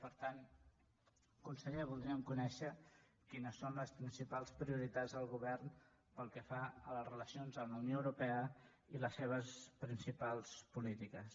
per tant conseller voldríem conèixer quines són les principals prioritats del govern pel que fa a les relacions amb la unió europea i les seves principals polítiques